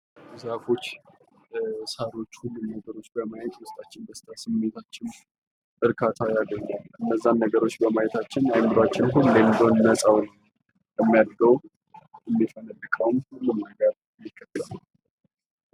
ዛፎች ሳሮች በማየት ዉስጣችን ሰድታ ስሜታችን እርካታ ያገኛል። እነዛን ነገሮች በማየታችን አእምሯችን ሁሌም ቢሆን ነጻ ነው። የሚያድገው የሚፈነድቀውም ሁሉም ነገር በዚህ ነው።